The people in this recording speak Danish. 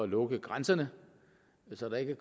lukke grænserne så der ikke